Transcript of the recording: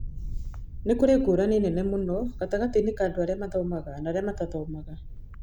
Nĩ kũrĩ ngũrani nene mũno gatagatĩ ka andũ arĩa mathomaga na arĩa matathomaga.